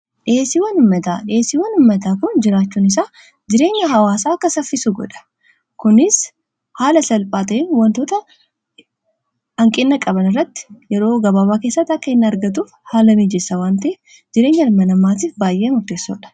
dhiyeesiiwwan ummataa kun jiraachuun isaa jireenya hawaasaa akka saffisu godha. kunis haala salphaateen wantoota hanqinna qaban irratti yeroo gabaabaa keessati akka inni argatuuf haala miijessa waan ta'eef jireenya dhala namaatiif baay'ee murteessoodha.